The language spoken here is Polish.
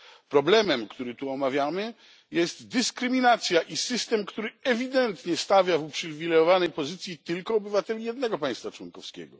Problemem, który tu omawiamy, jest dyskryminacja i system, który ewidentnie stawia w uprzywilejowanej pozycji tylko obywateli jednego państwa członkowskiego.